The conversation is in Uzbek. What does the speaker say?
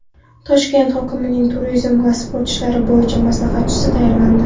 Toshkent hokimining turizm va sport ishlari bo‘yicha maslahatchisi tayinlandi.